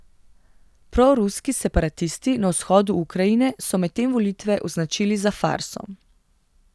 Proruski separatisti na vzhodu Ukrajine so medtem volitve označili za farso.